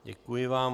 Děkuji vám.